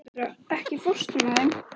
Kendra, ekki fórstu með þeim?